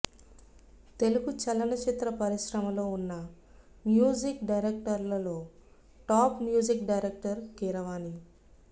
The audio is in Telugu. తెలుగు చలనచిత్ర పరిశ్రమలో ఉన్న మ్యూజిక్ డైరెక్టర్లలో టాప్ మ్యూజిక్ డైరెక్టర్ కీరవాణి